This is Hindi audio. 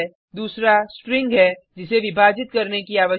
दूसरा स्ट्रिंग है जिसे विभाजित करने की आवश्यकता है